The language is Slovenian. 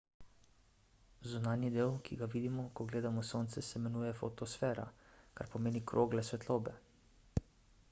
zunanji del ki ga vidimo ko gledamo sonce se imenuje fotosfera kar pomeni krogla svetlobe